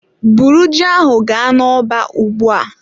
Bụrụ ji ahụ ga n'ọba ugbua!